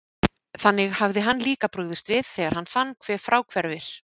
Þannig hafði hann líka brugðist við, þegar hann fann, hve fráhverfir